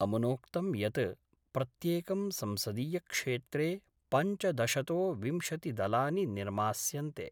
अमुनोक्तं यत् प्रत्येकं संसदीयक्षेत्रे पञ्चदशतो विंशतिदलानि निर्मास्यन्ते।